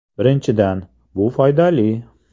Birinchidan, bu foydali.